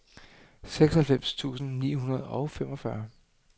seksoghalvfems tusind ni hundrede og femogfyrre